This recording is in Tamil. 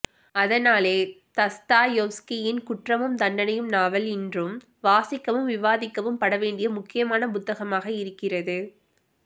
அதனாலே தஸ்தாயெவ்ஸ்கியின் குற்றமும் தண்டனையும் நாவல் இன்றும் வாசிக்கவும் விவாதிக்கவும் படவேண்டிய முக்கியமான புத்தகமாக இருக்கிறது